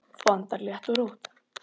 Þú andar létt og rótt.